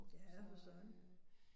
Ja for søren